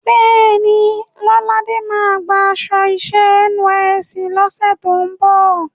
Bẹ́ẹ̀ni, Lọ́ládé máa gba aṣọ iṣẹ́ NYSC lọ́sẹ̀ tó ń bọ̀.